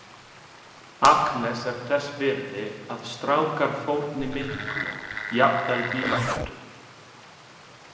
Agnes er þess virði að strákar fórni miklu, jafnvel vináttu.